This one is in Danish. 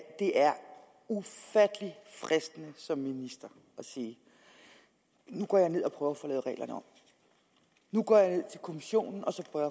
det er ufattelig fristende som minister at sige nu går jeg ned og prøver at få lavet reglerne om nu går jeg ned til kommissionen og så prøver